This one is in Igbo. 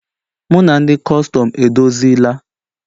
Mụ na ndị Kustum edozila